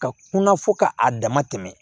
Ka kunna fo ka a dama tɛmɛ